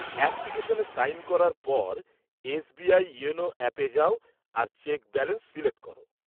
অ্যাপ্লিকেশনে সাইন করার পর, এসবিআই ইয়োনো অ্যাপে যাও আর চেক ব্যালান্স সিলেক্ট করো।